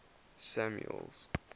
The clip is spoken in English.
samuel's